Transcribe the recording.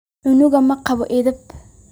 Cunugan maqawo eedeb.